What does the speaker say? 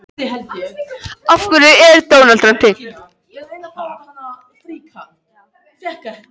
Í köflunum hér að framan hefur genið verið í fyrirrúmi.